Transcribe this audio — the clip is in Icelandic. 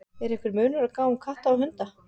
Er einhver munur á gáfum katta og hunda?